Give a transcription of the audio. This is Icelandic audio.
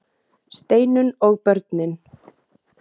STEINUNN OG BÖRNIN